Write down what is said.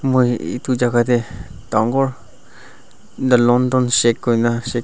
moi itu jaga deh dangor the london shake kuina sha.